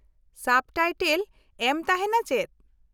ᱥᱟᱵ ᱴᱟᱭᱴᱮᱞ ᱮᱢ ᱛᱟᱦᱮᱱᱟ ᱪᱮᱫ ?